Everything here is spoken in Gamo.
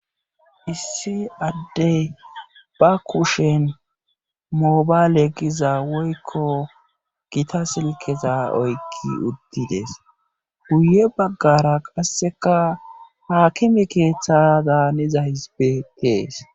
Issi addey ba kushen mobaale giza woykko gita silkeza oykki uttides guye baggara qasseka haakimi keeththa daaniza hisbe tees.